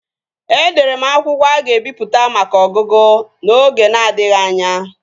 Edere m akwụkwọ a ga-ebipụta maka ọgụgụ n'oge na-adịghị anya